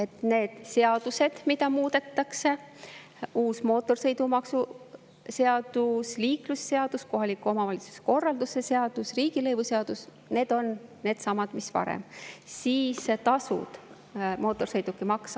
Ja need seadused, mida selle uue mootorsõidukimaksu seadusega muudetakse – liiklusseadus, kohaliku omavalitsuse korralduse seadus, riigilõivuseadus – need on samasugused kui varem.